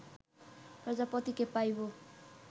প্রজাপতিকে পাইব